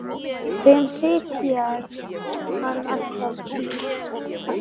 Þeim sið hélt hann alla tíð.